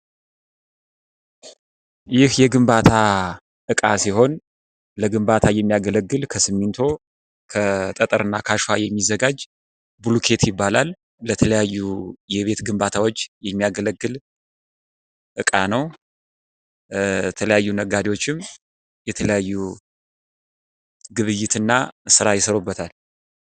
ይህ የግምባታ እቃ ሲሆን ለግምባታ የሚያገለግል ከሲሚንቶ፣ ከአሸዋና ጠጠር የሚዘጋጅ ብሎኬት ይባላል። ለተለያዩ የቤት ግንባታዎች የሚያገለግል እቃ ነው። የተለያዩ ነጋዴዎችም የተለያየ ግብይትና ስራ ይሰሩበታል።